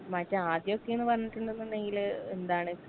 മറ്റേ ആദ്യൊക്കേന്ന് പറഞ്ഞിട്ട്ണ്ട്ന്നുണ്ടെങ്കില് എന്താണ്.